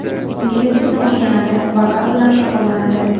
Ingliz tilini o‘rganadi, vokal bilan shug‘ullanadi.